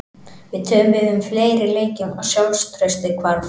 Við töpuðum fleiri leikjum og sjálfstraustið hvarf.